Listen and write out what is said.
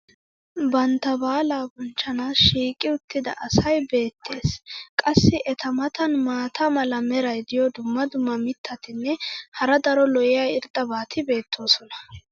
bantta baalaa bonchchanaassi shiiqi uttida asay beetees. qassi eta matan maata mala meray diyo dumma dumma mitatinne hara daro lo'iya irxxabati beetoosona.